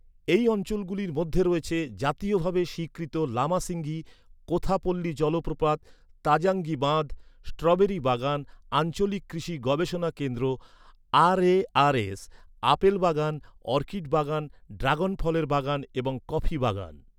এই অঞ্চলগুলির মধ্যে রয়েছে জাতীয়ভাবে স্বীকৃত লামাসিঙ্গি, কোথাপল্লী জলপ্রপাত, তাজাঙ্গি বাঁধ, স্ট্রবেরি বাগান, আঞ্চলিক কৃষি গবেষণা কেন্দ্র আরএআরএস, আপেল বাগান, অর্কিড বাগান, ড্রাগন ফলের বাগান এবং কফি বাগান।